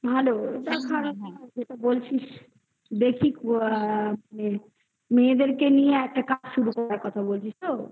ভালো যেটা বলছিস. দেখি আ মেয়েদেরকে নিয়ে একটা কাজ শুরু করার কথা বলছিস তো